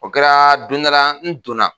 O kɛra don dɔ la n donna.